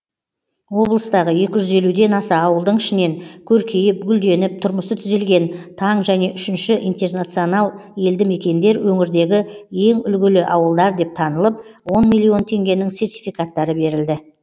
облыстағы екі жүз елуден аса ауылдың ішінен көркейіп гүлденіп тұрмысы түзелген таң және үшінші интернационал елдімекендер өңірдегі ең үлгілі ауылдар деп танылып он миллион теңгенің сертификаттары берілді